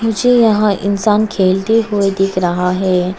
मुझे यहां इंसान खेलते हुए दिख रहा है।